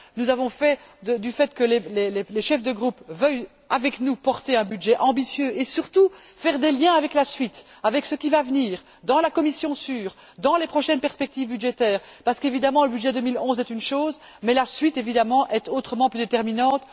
Nous avons bénéficié du fait que les chefs de groupe veuillent porter avec nous un budget ambitieux et, surtout, établir des liens avec la suite, avec ce qui va venir, dans la commission SURE, dans les prochaines perspectives budgétaires parce que, évidemment, le budget 2011 est une chose mais la suite, bien entendu, est autrement plus déterminante.